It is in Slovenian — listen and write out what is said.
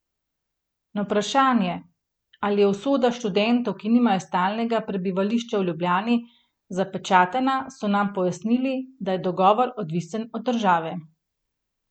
Na vprašanje, ali je usoda študentov, ki nimajo stalnega prebivališča v Ljubljani, zapečatena, so nam pojasnili, da je dogovor odvisen od države.